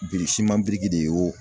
de ye wo.